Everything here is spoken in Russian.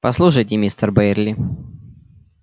послушайте мистер байерли